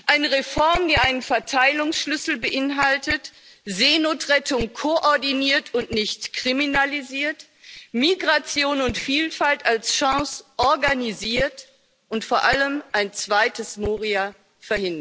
Eine Reform, die einen Verteilungsschlüssel beinhaltet, Seenotrettung koordiniert und nicht kriminalisiert, Migration und Vielfalt als Chance organisiert und vor allem ein zweites Moria verhindert.